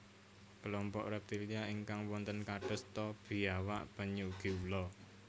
Klompok reptilia ingkang wonten kados ta biawak penyu ugi ula